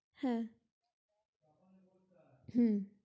হে হু